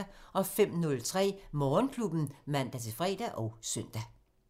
05:03: Morgenklubben (man-fre og søn)